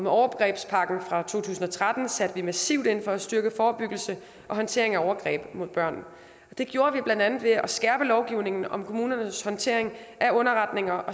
overgrebspakken fra to tusind og tretten satte vi massivt ind for at styrke forebyggelsen og håndteringen af overgreb mod børn det gjorde vi blandt andet ved at skærpe lovgivningen om kommunernes håndtering af underretninger og